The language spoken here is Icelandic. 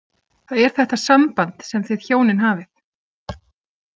Það er þetta samband sem þið hjónin hafið.